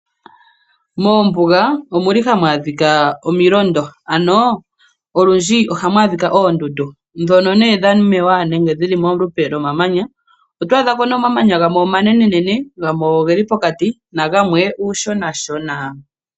Moombuga omuli hamu adhika omilondo, ano olundji ohamu adhika oondundu, ndhono nee dha mewa nenge dhili molupe lwo mamanya. Oto adha po nee omamanya gamwe omanenenene, gamwe ogeli pokati nagamwe , uushonashona.